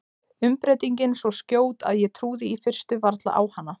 Umbreytingin svo skjót að ég trúði í fyrstu varla á hana.